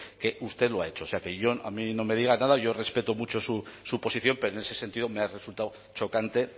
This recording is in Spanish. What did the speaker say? que usted lo ha hecho o sea que a mí no me diga nada yo respeto mucho su posición pero en ese sentido me ha resultado chocante